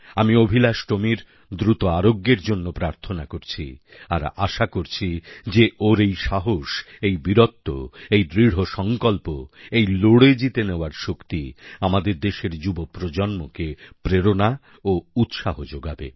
আমি অভিলাষ টোমির দ্রুত আরোগ্যের জন্যে প্রার্থনা করছি আর আশা করছি যে ওর এই সাহস এই বীরত্ব এই দৃঢ়সংকল্প এই লড়ে জিতে নেওয়ার শক্তি আমাদের দেশের যুব প্রজন্মকে প্রেরণা ও উৎসাহ যোগাবে